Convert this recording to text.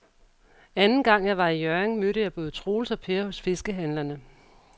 Anden gang jeg var i Hjørring, mødte jeg både Troels og Per hos fiskehandlerne.